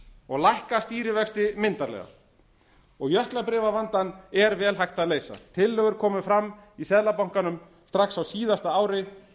og lækka stýrivexti myndarlega og jöklabréfavandann er vel hægt að leysa tillögur komu fram í seðlabankanum strax á síðasta ári